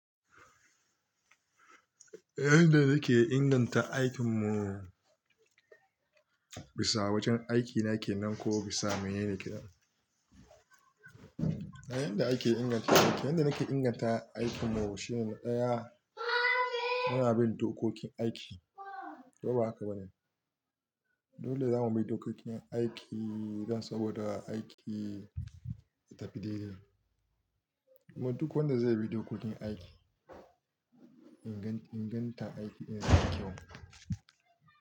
Yanda nake inganta aikin mu, bisa wajen aiki nake nan ko bisa menene kenan? Yanda ake inganta aiki, yanda nake inganta aikin mu shine ɗaya, muna bin dokokin aiki. To ba haka bane. Dole zamu bi dokokin aiki don saboda aiki ta tafi daidai. Duk wanda zai bi dokokin aiki, inganta aiki yanada kyau.